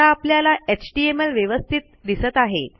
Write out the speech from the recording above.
आता आपल्याला एचटीएमएल व्यवस्थित दिसत आहे